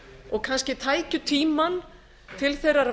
og kannski tækju tímann til þeirrar